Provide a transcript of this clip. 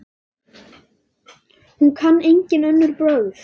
Hún kann engin önnur brögð.